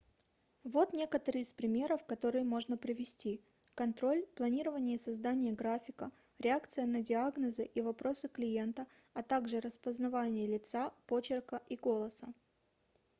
вот некоторые из примеров которые можно привести контроль планирование и создание графика реакция на диагнозы и вопросы клиента а также распознавание лица почерка и голоса